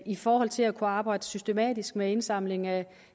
i forhold til at kunne arbejde systematisk med en indsamling af